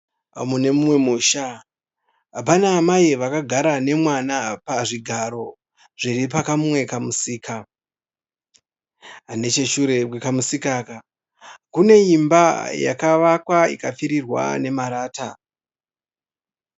Mune mumwe musha. Pana amai vakagara nemwana pazvigaro zviri pakamwe kamusika. Necheshure kwekamusika aka kune imba yakavakwa ikapfirirwa nemarata.